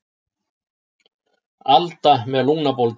Alda með lungnabólgu.